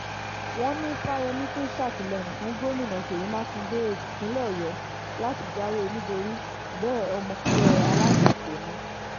wọ́n ní fáyemí tún sàtìlẹyìn fún gómìnà ṣèyí mákindè tìpínlẹ̀ ọ̀yọ́ láti jáwé olúborí bẹ́ẹ̀ ọmọ ẹgbẹ́ alátakò ni